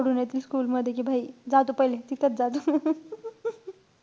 सोडून येतील school मध्ये कि जा तू पहिले. तिथेच जा.